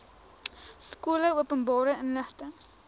skole openbare inligting